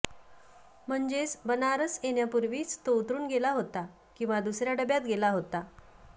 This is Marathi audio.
म्हणजेच बनारस येण्यापूर्वीच तो उतरून गेला होता किंवा दुसर्या डब्यात गेला होता